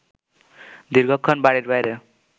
দীর্ঘক্ষণ বাড়ির বাইরে